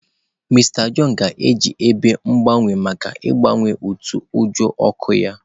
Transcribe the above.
Mister John ga-eji ebe mgbanwe maka ịgbanye utoojoo ọkụ ya.